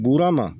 Buruana